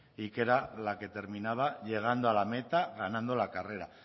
y que era la que terminaba llegando a la meta ganando la carrera